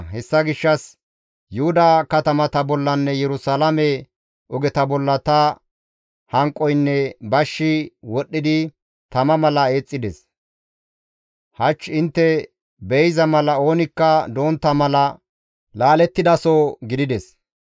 Hessa gishshas Yuhuda katamata bollanne Yerusalaame ogeta bolla ta hanqoynne bashshi wodhdhidi tama mala eexxides; hach intte be7iza mala oonikka dontta mala laalettidaso gidides.